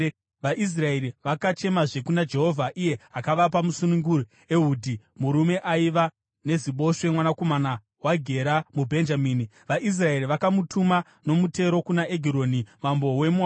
VaIsraeri vakachemazve kuna Jehovha, iye akavapa musununguri, Ehudhi murume aiva neziboshwe, mwanakomana waGera muBhenjamini. VaIsraeri vakamutuma nomutero kuna Egironi mambo weMoabhu.